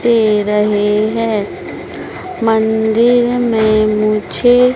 दे रहें हैं मंदिर में मुझे--